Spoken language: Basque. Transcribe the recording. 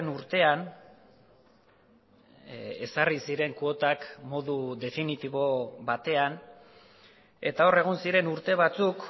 urtean ezarri ziren kuotak modu definitibo batean eta hor egon ziren urte batzuk